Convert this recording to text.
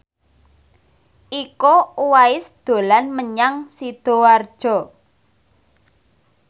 Iko Uwais dolan menyang Sidoarjo